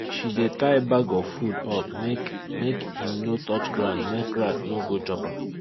she dey tie bag of food up make make im no touch ground make rat no go chop am